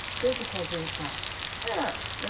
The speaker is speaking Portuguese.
Quem que fazia o parto? Era,